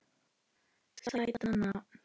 Sætt nafn.